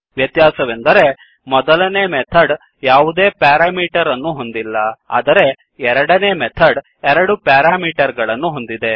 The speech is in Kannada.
ವ್ಯತ್ಯಾಸವೆಂದರೆ ಮೊದಲನೇ ಮೆಥಡ್ ಯಾವುದೇ ಪ್ಯಾರಾಮೀಟರ್ ಅನ್ನು ಹೊಂದಿಲ್ಲ ಆದರೆ ಎರಡನೇ ಮೆಥಡ್ ಎರಡು ಪ್ಯಾರಾಮೀಟರ್ ಗಳನ್ನು ಹೊಂದಿದೆ